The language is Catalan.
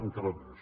encara més